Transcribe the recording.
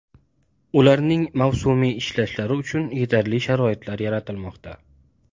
Ularning mavsumiy ishlashi uchun yetarli sharoitlar yaratilmoqda.